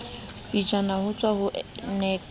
pejana ho tswa ho nac